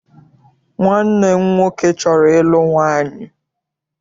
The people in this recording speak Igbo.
Nwanne m nwoke chọrọ ịlụ nwaanyị.